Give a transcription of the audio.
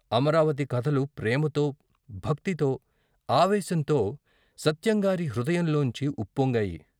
అమరావతి కథలు ప్రేమతో, భక్తితో, ఆవేశంతో సత్యంగారి హృదయం లోంచి ఉప్పొంగాయి.